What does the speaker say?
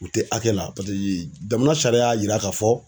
U tɛ hakɛ la. Paseke jamana sariya y'a yira ka fɔ